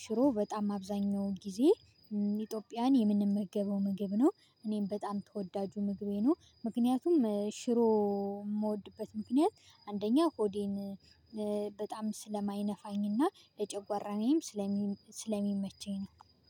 ሽሮ በጣም አብዛኛው ጊዜ ኢትዮጵያን የምንመገበው ምግብ ነው እኔም በጣም ተወዳጁ ምግቤ ነው ምክንያቱም ሽሮ የምወድበት ምክንያት አንደኛ ሆዴን በጣም ስለማይነፋኝና ለጨጓራዬም ስለሚመቸኝ ነው